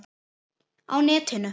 Á netinu